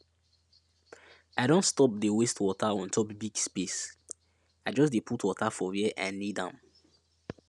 i don stop dey waste water on top big space i just dey put water for where i need am